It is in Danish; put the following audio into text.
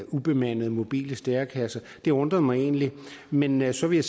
ubemandede mobile stærekasser det undrer mig egentlig men men så vil